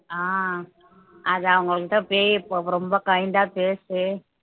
அஹ் அது அவங்க கிட்ட ரொம்ப kind ஆ பேசி